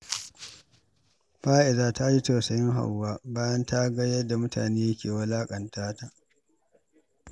Fa’iza ta ji tausayin Hauwa bayan ta ga yadda mutane ke wulaƙanta ta.